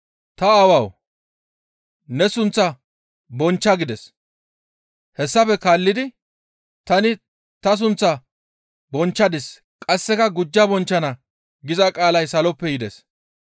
«Ta Aawawu! Ne sunththaa bonchcha» gides. Hessafe kaallidi, «Tani ta sunththaa bonchchadis; qasseka gujja bonchchana» giza qaalay saloppe yides.